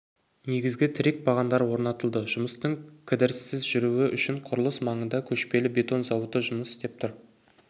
негізгі тірек-бағандар орнатылды жұмыстың кідіріссіз жүруі үшін құрылыс маңында көшпелі бетон зауыты жұмыс істеп тұр